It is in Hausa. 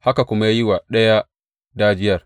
Haka kuma ya yi wa ɗaya dajiyar.